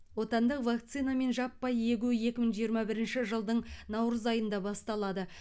отандық вакцинамен жаппай егу екі мың жиырма бірінші жылдың наурыз айында басталады